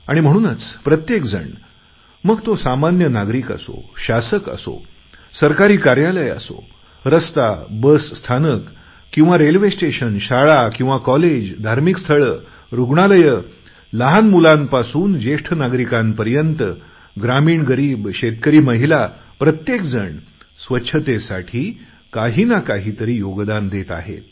आणि म्हणूनच प्रत्येक जण मग तो सामान्य नागरिक असो शासक असो सरकारी कार्यालय असो किंवा रस्ता बस स्थानक किंवा रेल्वे स्टेशन शाळा किंवा कॉलेज धार्मिक स्थळ किंवा रुग्णालय लहान मुलांपासूनज्येष्ठ नागरिकांपर्यंत ग्रामीण गरीब शेतकरी महिला प्रत्येक जण स्वच्छतेसाठी काहीनाकाहीतरी योगदान देत आहे